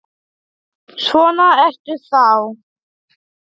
Svona ertu þá!